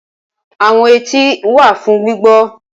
Awọn eti wa fun gbigbọ.